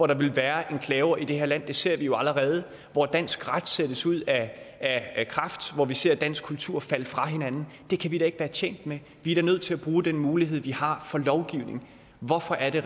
der vil være enklaver i det her land det ser vi jo allerede hvor dansk ret sættes ud af kraft hvor vi ser dansk kultur falde fra hinanden det kan vi da ikke være tjent med vi er da nødt til at bruge den mulighed vi har for at lovgive hvorfor er det